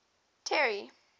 terry